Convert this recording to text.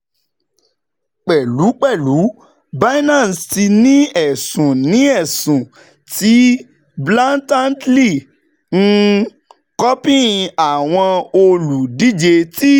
Pẹlupẹlu, Binance ti ni ẹsun ni ẹsun ti blatantly um copying awọn oludije ti